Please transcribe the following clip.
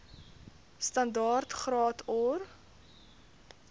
standaard graad or